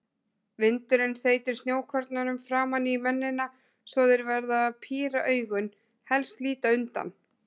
Vindurinn þeytir snjókornum framan í mennina svo þeir verða að píra augun, helst líta undan.